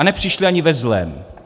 A nepřišli ani ve zlém.